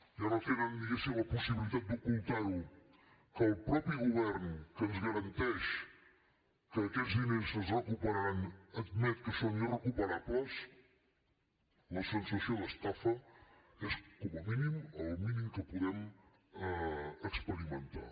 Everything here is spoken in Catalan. ja no tenen diguéssim la possibilitat d’ocultar ho que el mateix govern que ens garanteix que aquells diners es recuperaran admet que són irrecuperables la sensació d’estafa és com a mínim el mínim que podem experimentar